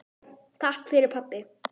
Takk fyrir pabbi.